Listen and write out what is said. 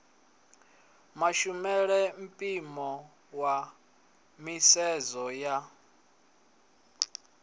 mashumele mpimo wa nisedzo ya